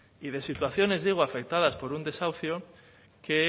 y de situaciones digo afectadas por un desahucio que